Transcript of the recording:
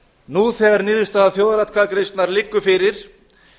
nú þegar niðurstaða þjóðaratkvæðagreiðslunnar liggur fyrir